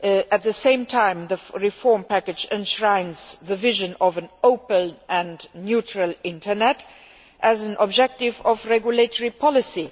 At the same time, the reform package enshrines the vision of an open and mutual internet as an objective of regulatory policy.